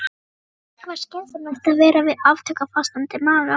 Ekki var skynsamlegt að vera við aftöku á fastandi maga.